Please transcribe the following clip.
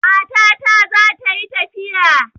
Matata za ta yi tafiya.